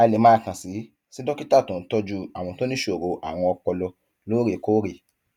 a lè máa kàn sí sí dókítà tó ń tọjú àwọn tó níṣòro àrùn ọpọlọ lóòrèkóòrè